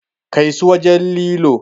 Kai su wajen lilo!